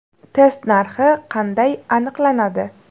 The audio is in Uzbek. Test narxi qanday aniqlanadi?